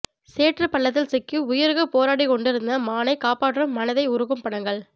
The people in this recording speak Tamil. சேற்று பள்ளத்தில் சிக்கி உயிருக்கு போராடி கொண்டு இருந்த மானை காப்பாற்றும் மனதை உருக்கும் படங்கள்